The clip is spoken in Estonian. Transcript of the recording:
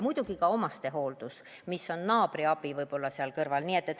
Muidugi ka omastehooldus, võib-olla naabri abi seal kõrval.